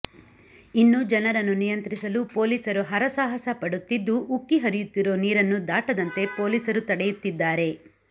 ಇನ್ನು ಜನರನ್ನು ನಿಯಂತ್ರಿಸಲು ಪೋಲೀಸರು ಹರಸಾಹಸ ಪಡುತ್ತಿದ್ದು ಉಕ್ಕಿಹರಿಯುತ್ತಿರೊ ನೀರನ್ನು ದಾಟದಂತೆ ಪೋಲೀಸರು ತಡೆಯುತ್ತಿದ್ದಾರೆ